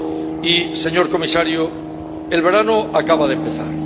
Y, señor comisario, el verano acaba de empezar.